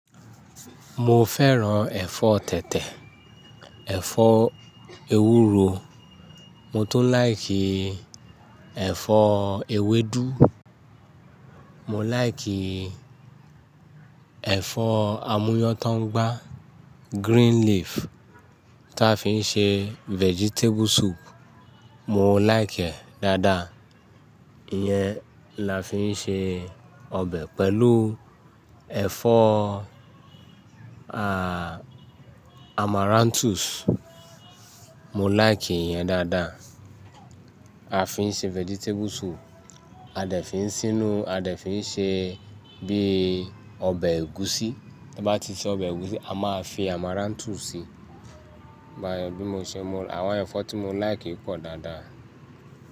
Mo fẹ́ràn ẹ̀fọ́ tètè, ẹ̀fọ́ ewúro, mo tún like ẹ̀fọ́ ewédú, mo like ẹ̀fọ́ amúyọ́n tó ń gbá green leaf tí a fi ń ṣe vegetable soup, mo like ẹ̀ dáadáa. Iyẹn la fi ń ṣe ọbẹ̀ pẹ̀lú ẹ̀fọ́ amaranthus, mo like ìyẹn dáadáa. A fi ń ṣe vegetable soup, a dẹ̀ fi ń sínú, a dẹ̀ fi ń ṣe bíi ọbẹ̀ ẹ̀gúsí. Tí a bá ti se ọbẹ̀ ẹ̀gúsí, a máa fi amaranthus síi. Báyìí bí mo ṣe mó, àwọn ẹ̀fọ́ tí mo like pọ̀ dáadáa.